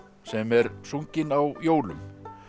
sem er sungin á jólum